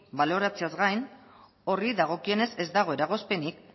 baloratzeaz gain horri dagokionez ez dago eragozpenik